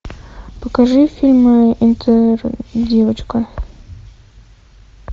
покажи фильм интердевочка